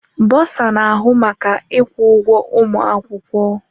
Bursar na-ahụ maka ịkwụ ụgwọ ụmụ akwụkwọ.